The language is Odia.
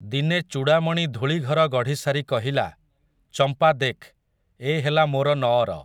ଦିନେ ଚୂଡ଼ାମଣି ଧୂଳିଘର ଗଢ଼ିସାରି କହିଲା, ଚମ୍ପା ଦେଖ୍, ଏ ହେଲା ମୋର ନଅର ।